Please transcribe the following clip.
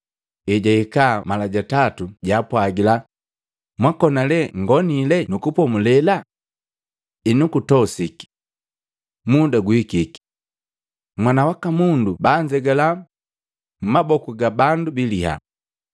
Ejahika mala ja tatu jaapwagila, “Mwakona lee nngonile nu kupomulela? Enu kutosike! Muda guhikiki! Mwana waka Mundu banzegala mmaboku ga bandu biliya.